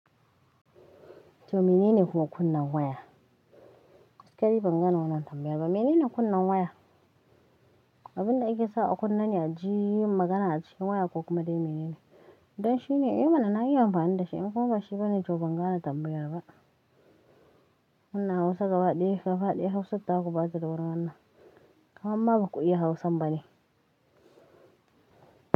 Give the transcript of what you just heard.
To menene kuwa kunnen waya? Kay bangane wannan tambayar ba. Menene kunnen waya? Abinda ake sa a kunne ne a ji magana a cikin waya ko kuma dai menene? Dan shine, I mana na iya amfani da shi in kuma bashi bane to ban gane tambayar ba. Muna Hausa gabaɗaya, ka faɗi Hausa ta ku bata dawan wannan dabarar nan, kamamma baku iya Hausa bane.